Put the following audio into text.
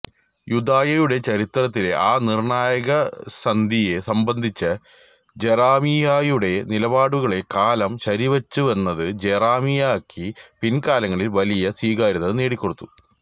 യൂദയായുടെ ചരിത്രത്തിലെ ആ നിർണ്ണായകസന്ധിയെ സംബന്ധിച്ച ജെറമിയായുടെ നിലപാടുകളെ കാലം ശരിവച്ചുവെന്നത് ജെറമിയാക്ക് പിൽക്കാലങ്ങളിൽ വലിയ സ്വീകാര്യത നേടിക്കൊടുത്തു